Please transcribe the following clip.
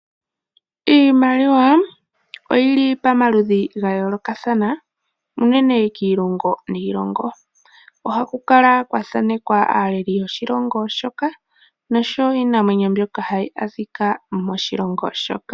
Iimaliwa oyi li pamaludhi ga yoolokathana unene kiilongo niilongo. Ohaku kala kwa thanekwa aaleli yoshilongo shoka osho woo iinamwenyo hayi adhika moshilongo shoka.